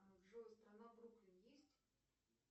джой страна бруклин есть